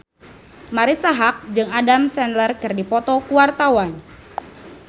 Marisa Haque jeung Adam Sandler keur dipoto ku wartawan